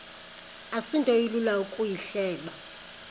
asinto ilula ukuyihleba